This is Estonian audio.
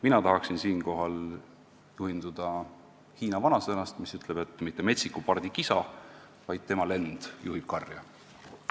Mina tahaksin siinkohal juhinduda hiina vanasõnast, mis ütleb, et mitte metsiku pardi kisa, vaid tema lend juhib karja.